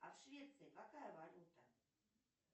а в швеции какая валюта